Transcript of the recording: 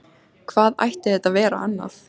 Hvað ætti þetta að vera annað?